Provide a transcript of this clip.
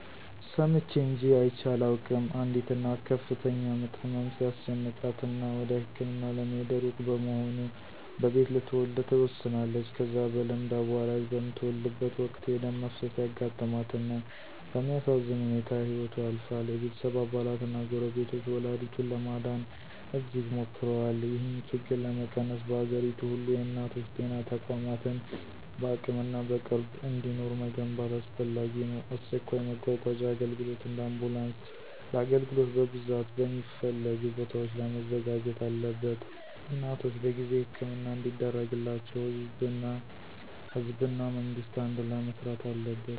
ሰምቼ እንጅ አይቼ አላውቅም፣ አንዲት እናት ከፍተኛ ምጥ ህመም ሲያስጨንቃት እና ወደ ህክምና ለመሄድ እሩቅ በመሆኑ በቤት ልትወለድ ትወስናለች። ከዛ በልምድ አዋላጅ በምትወልድበት ወቅት የደም መፍሰስ ያጋጥማት እና በሚያሳዝን ሁኔታ ህይወቶ ያልፋል። የቤተሰብ አባላት እና ጎረቤቶች ወላዲቱን ለማዳን እጅግ ሞክረዋል። ይህን ችግር ለመቀነስ፣ በአገሪቱ ሁሉ የእናቶች ጤና ተቋማትን በአቅምና በቅርብ እንዲኖሩ መገንባት አስፈላጊ ነው። አስቸኳይ መጓጓዣ አገልግሎት (እንደ አምቡላንስ) ለአገልግሎት በብዛት በሚፈለጉ ቦታዎች ላይ መዘጋጀት አለበት። እናቶች በጊዜ ሕክምና እንዲደረግላቸው ህዝብ እና መንግስት አንድላይ መሥሪት አለበት።